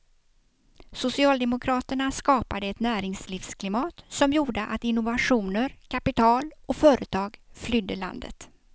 Socialdemokraterna skapade ett näringslivsklimat som gjorde att innovationer, kapital och företag flydde landet.